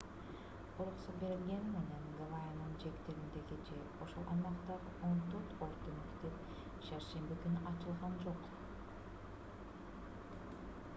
уруксат берилгени менен гавайинин жээктериндеги же ошол аймактагы он төрт орто мектеп шаршемби күнү ачылган жок